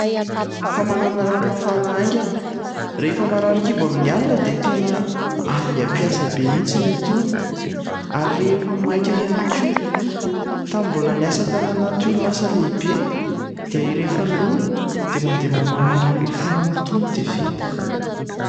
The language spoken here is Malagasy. Famanana rano mafana aingana. Rehefa marary kibo amin'ny alina dia tena aingam-piasa be mihitsy itony, ary rehefa maika ihany koa. Tamin'ny mbola niasa tany anaty orinasa lehibe, dia rehefa noana dia mandeha mamàna rano mafana amin'itony dia vita.